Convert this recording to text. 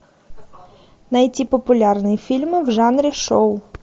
найти популярные фильмы в жанре шоу